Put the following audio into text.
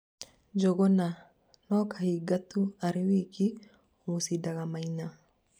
Njuguna: " No kahiga tu arĩ wiki ũmucindaga Maina"